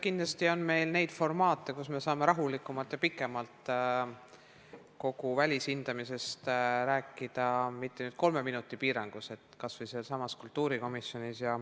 Kindlasti on meil neid formaate, kus me saame kogu välishindamisest rääkida rahulikumalt ja pikemalt, mitte kolme minutiga piiratud aja jooksul, kas või sealsamas kultuurikomisjonis.